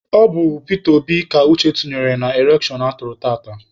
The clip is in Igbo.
Ọ bụ Pita Obi ka Uche tụnyere na elekshọn atụrụ tata.